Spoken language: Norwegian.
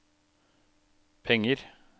penger